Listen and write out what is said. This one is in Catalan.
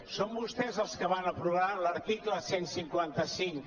són vostès els que van aprovar l’article cent i cinquanta cinc